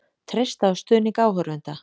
Treysta á stuðning áhorfenda